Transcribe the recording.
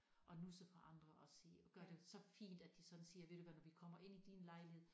At nusse på andre og sige gøre det så fint at de sådan siger ved du hvad når vi kommer ind i din lejlighed